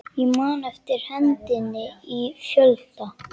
Ég man eftir hendinni í fjölda